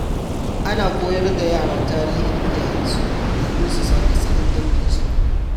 Ana koyar da yara tarihin iyayensu domin su san asalin danginsu.